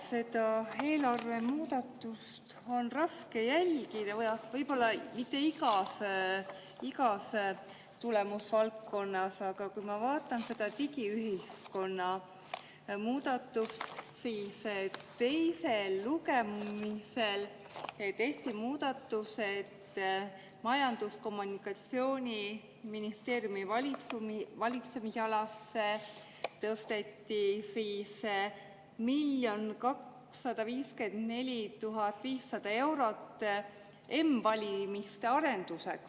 Seda eelarvemuudatust on raske jälgida, võib-olla mitte igas tulemusvaldkonnas, aga ma vaatan seda digiühiskonna muudatust, kus teisel lugemisel tehti muudatus, et Majandus‑ ja Kommunikatsiooniministeeriumi valitsemisalasse tõsteti 1 254 500 eurot m‑valimiste arenduseks.